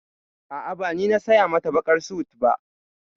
A'a, ba ni na saya mata baƙar sut ba.